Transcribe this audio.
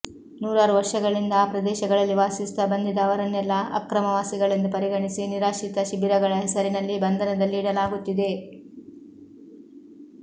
ನೂರಾರು ವರ್ಷಗಳಿಂದ ಆ ಪ್ರದೇಶಗಳಲ್ಲಿ ವಾಸಿಸುತ್ತಾ ಬಂದಿದ್ದ ಅವರನ್ನೆಲ್ಲಾ ಅಕ್ರಮವಾಸಿಗಳೆಂದು ಪರಿಗಣಿಸಿ ನಿರಾಶ್ರಿತ ಶಿಬಿರಗಳ ಹೆಸರಿನಲ್ಲಿ ಬಂಧನದಲ್ಲಿ ಇಡಲಾಗುತ್ತಿದೆ